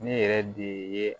Ne yɛrɛ de ye